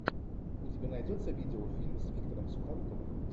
у тебя найдется видеофильм с виктором сухоруковым